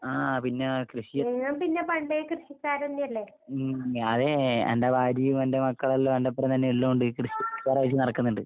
ആഹ് പിന്നേ കൃഷി ഉം ഞാന് എന്റെ ഭാര്യയും എന്റെ മക്കളെല്ലാം എന്റൊപ്പനെ തന്നെ ഇള്ളകൊണ്ട് കൃഷിക്കാരായിട്ട് നടക്ക്ണ്ണ്ട്.